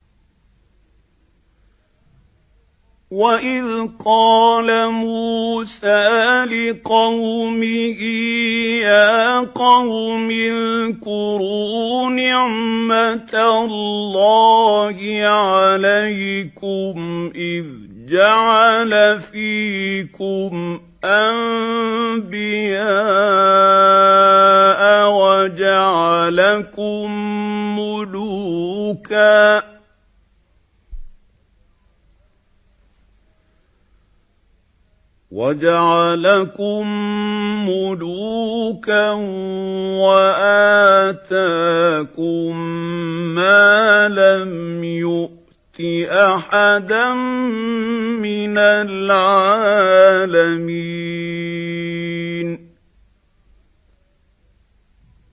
وَإِذْ قَالَ مُوسَىٰ لِقَوْمِهِ يَا قَوْمِ اذْكُرُوا نِعْمَةَ اللَّهِ عَلَيْكُمْ إِذْ جَعَلَ فِيكُمْ أَنبِيَاءَ وَجَعَلَكُم مُّلُوكًا وَآتَاكُم مَّا لَمْ يُؤْتِ أَحَدًا مِّنَ الْعَالَمِينَ